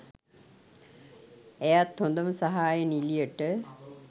ඇයත් හොදම සහාය නිළියට